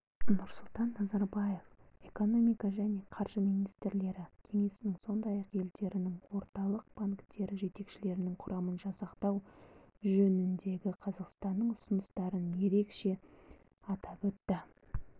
нұрсұлтан назарбаев экономика және қаржы министрлері кеңесінің сондай-ақ елдерінің орталық банктері жетекшілерінің құрамын жасақтау жөніндегі қазақстанның ұсыныстарын ерекше атап өтті